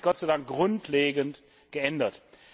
Das hat sich Gott sei Dank grundlegend geändert.